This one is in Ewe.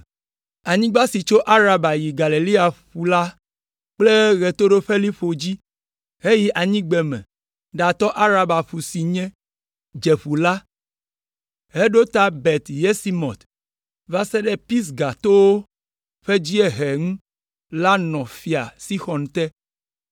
Anyigba si tso Araba yi Galilea ƒu la ƒe ɣetoɖoƒeliƒo dzi heyi anyigbeme ɖatɔ Araba ƒu si nye (Dzeƒu la) heɖo ta Bet Yesimot, va se ɖe Pisga towo ƒe dziehe ŋu la hã nɔ Fia Sixɔn te.